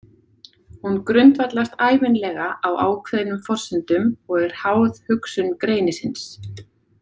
Hún grundvallast ævinlega á ákveðnum forsendum og er háð hugsun greinisins.